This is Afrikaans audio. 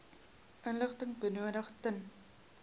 inligting benodig ten